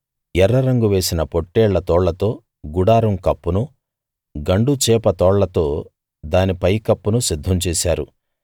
ఎర్ర రంగు వేసిన పొట్టేళ్ల తోళ్లతో గుడారం కప్పునూ గండుచేప తోళ్ళతో దానికి పైకప్పునూ సిద్ధం చేశారు